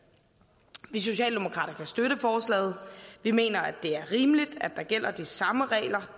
vi socialdemokrater kan støtte forslaget vi mener at det er rimeligt at der gælder de samme regler